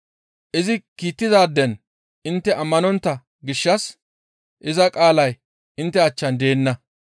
Izi kiittidaaden intte ammanontta gishshas iza qaalay intte achchan deenna.